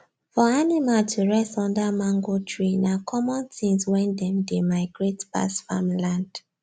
for animal to rest under mango tree na common things wen them dey migrate pass farmland